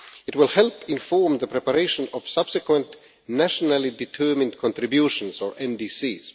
It will help inform the preparation of subsequent nationally determined contributions or NDCs.